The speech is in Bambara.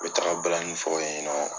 U taga balanni fɔ in ɲɛna